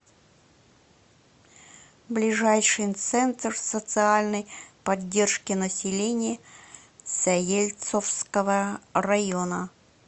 ближайший центр социальной поддержки населения заельцовского района